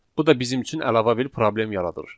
Bu da bizim üçün əlavə bir problem yaradır.